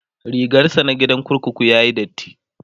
rigarsa na gidan kurkuku yayi datti